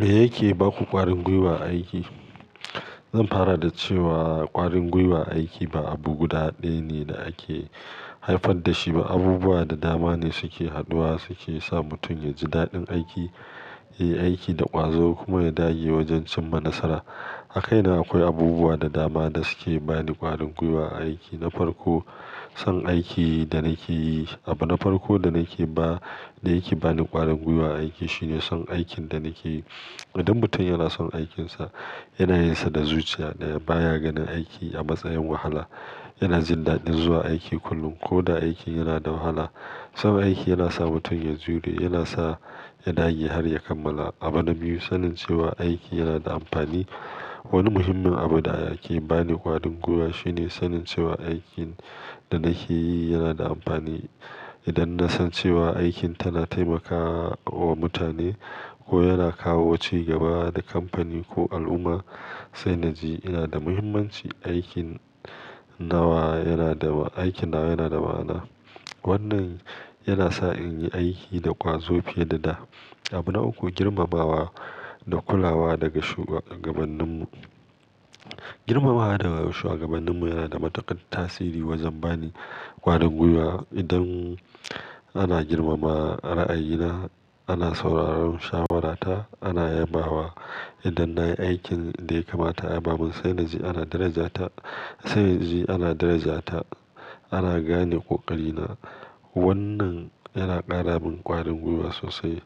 Me yake ba ku ƙwarin gwiwa a aiki? Zan fara da cewa ƙwarin gwiwa a aiki ba abu guda ɗaya ne da ake haifar da shi ba. Abubuwa da dama ne suke haduwa, suke sa mutum ya ji daɗin aiki, yi aiki da ƙwazo kuma ya dage wajen cimma nasara. A kaina akwai abubuwa da dama da suke bani ƙwarin gwiwa a aiki. Na farko, son aikin da nake yi. Abu na farko da nake ba, da yake bani ƙwarin gwiwa a aiki shine son aikin da nake yi. Idan mutum yana son aikinsa, yana yinsa da zuciya daya baya ganin aiki a matsayin wahala. Yana jin daɗi zuwa aiki kullum ko da aikin yana da wahala. Son aiki yana sa mutum ya jure, yana sa ya dage har ya kammala. Abu na biyu, sanin cewa aiki yana da amfani. Wani muhimmin abu da yake bani ƙwarin gwiwa shine sanin cewa aikin da nake yi yana da amfani. Idan na san cewa aikin tana taimakawa mutane ko yana kawo cigaba ga kamfani ko al'umma, sai na ji yana da muhimmanci. Aikin nawa yana da, aikin nawa yana da ma'ana. Wannan yana sa in yi aiki da ƙwazo fiye da da. Abu na uku, girmamawa da kulawa daga shugabanninmu. Girmamawa daga shuwagabanninmu yana da matuƙar tasiri wajen bani ƙwarin gwiwa. Idan ana girmama ra'ayina, ana sauraron shawarata, ana yammawa. Idan na yi aikin da ya kamata, a yabamun, sai na ji ana darajata. Sai na ji ana darajata, ana gane ƙoƙarina. Wannan yana ƙara min ƙwarin gwiwa sosai.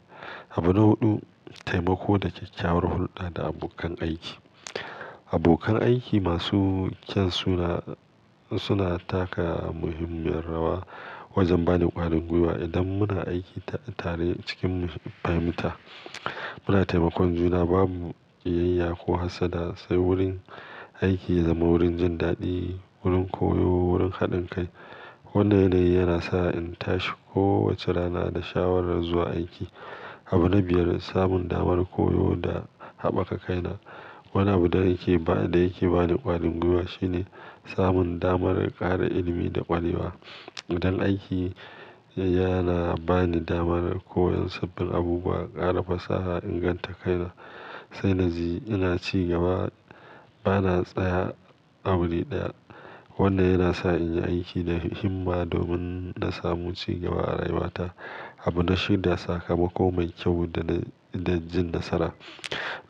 Abu na huɗu, taimako da kyakkyawar hulɗa da abokan aiki. Abokan aiki masu kyau suna, suna taka muhimmiyar rawa wajen bani ƙwarin gwiwa. Idan muna aiki tare cikin fahimta, muna taimakon juna, babu ƙiyayya ko hassada, sai wurin aiki ya zama wurin jin daɗi, wurin koyo, wurin haɗin kai. Wannan ne yana sa in tashi kowace rana da shawarar zuwa aiki. Abu na biyar, samun damar koyo da haɓaka kaina. Wani abu da yake ba, da yake bani ƙwarin gwiwa shine samun damar ƙara ilimi da ƙwarewa. Idan aiki yana bani damar koyon sabbin abubuwa, ƙara fasaha, inganta kaina, sai na ji ina cigaba, bana tsaya a wuri ɗaya. Wannan yana sa in yi aiki da himma domin na samu cigaba a rayuwata. Abu na shida, sakamako mai kyau da, da jin nasara.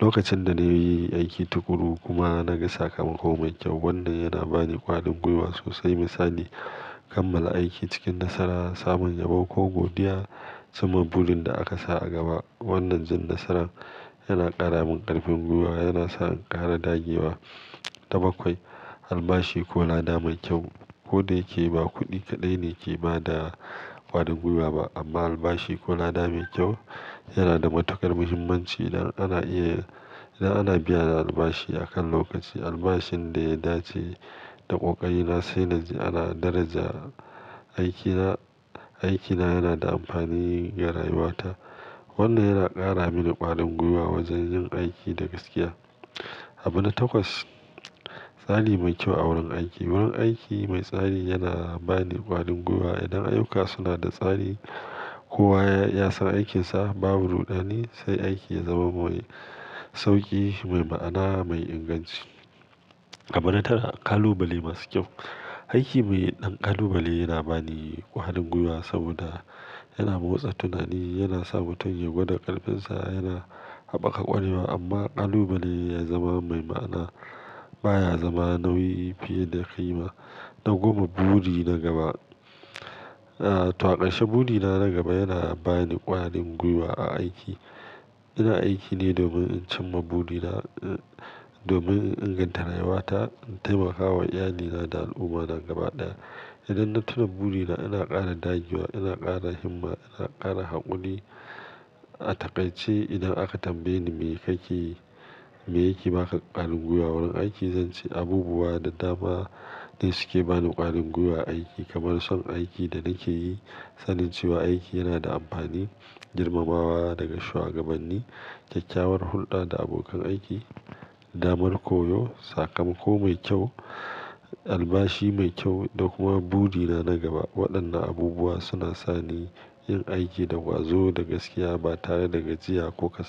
Lokacin da na yi aiki tuƙuru kuma na ga sakamako mai kyau, wannan yana bani ƙwarin gwiwa sosai. Misali, kammala aiki cikin nasara, samun yabo ko godiya sama burin da aka sa a gaba. Wannan jin nasaran yana ƙara min ƙarfin gwiwa, yana sa in ƙara dage wa. Na bakwai, albashi ko ladamai kyau. Ko da yake ba kuɗi kaɗai ne ke ba da ƙwarin gwiwa ba, amma albashi ko ladamai kyau yana da matuƙar muhimmanci. Idan ana iya, idan ana biyan albashi a kan lokaci, albashin da ya dace da kokarina, sai na ji ana daraja aikina, aikina yana da amfani ga rayuwata. Wannan yana ƙara mini ƙwarin gwiwa wajen yin aiki da gaskiya. Abu na takwas, tsari mai kyau a wurin aiki. Wurin aiki mai tsari yana bani ƙwarin gwiwa. Idan ayyuka suna da tsari, kowa ya san aikinsa, babu rudani, sai aiki ya zama mai sauƙi, mai ma'ana, mai inganci. Abu na tara, ƙalubale masu kyau. Aiki mai ɗan ƙalubale yana bani ƙwarin gwiwa saboda yana motsa tunani, yana sa mutum ya gwada ƙarfinsa, yana haɓaka ƙwarewa. Amma ƙalubale ya zama mai ma'ana, baya zama nauyi fiye da ƙima. Na goma, buri na gaba. Aaa, taƙaice burina na gaba yana bani ƙwarin gwiwa a aiki. Ina aiki ne domin in cimma burina, domin in inganta rayuwata, in taimakawa iyalina da al'ummata gaba ɗaya. Idan na tuna burina, ina ƙara dagewa, ina ƙara himma, ina ƙara haƙuri. A taƙaice idan aka tambaye ni me kake, me yake ba ka ƙwarin gwiwa wurin aiki, zan ce abubuwa da dama ne suke bani ƙwarin gwiwa a aiki. Kamar son aikin da nake yi, sanin cewa aiki yana da amfani, girmamawa daga shugabanni, kyakkyawar hulɗa da abokan aiki, damar koyo, sakamako mai kyau, albashi mai kyau da kuma burina na gaba. Waɗannan abubuwa suna sa ni yin aiki da ƙwazo da gaskiya ba tare da gajiya ko kasada.